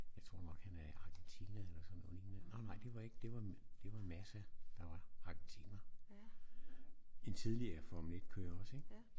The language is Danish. Jeg tror nok han er Argentina eller sådan noget lignende nåh nej det var ikke det var det var Massa der var argentiner en tidligere Formel 1 også ik